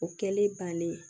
O kɛlen bannen